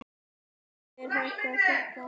Þórður er hættur að hlæja.